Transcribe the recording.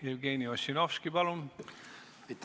Jevgeni Ossinovski, palun!